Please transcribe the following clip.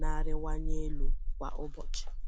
na-arịwanye elu kwa ụbọchị